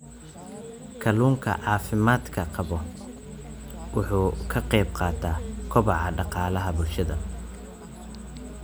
Kalluunka caafimaadka qaba wuxuu ka qayb qaataa kobaca dhaqaalaha bulshada.